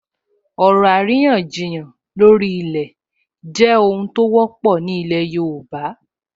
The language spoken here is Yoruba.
Ọ̀rọ̀ àríyànjiyàn lórí ilẹ̀ jẹ́ ohun tó wọ́pọ̀ ní ilẹ̀ yóòbá